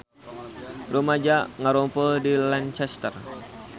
Rumaja ngarumpul di Lancaster